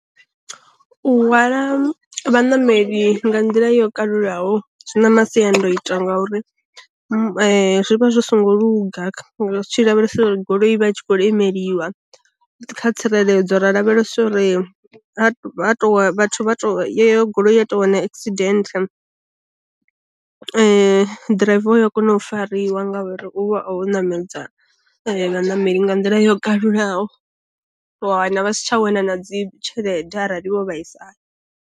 U hwala vha nameli nga nḓila yo kalulaho zwi na masiandoitwa ngauri, zwi vha zwi songo luga ri tshi lavhelesa uri goloi vha tshi kho lemeliwa kha tsireledzo ra lavhelesa uri vhathu vha to yo goloi ya tou wana accident ḓiraiva uya kona u fariwa nga uri u vha wo ṋamedza vha ṋameli nga nḓila yo kalulaho, wana vha si tsha wana na dzi tshelede arali vho vhaisala.